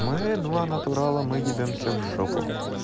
мы два натурала мы ебёмся в жопу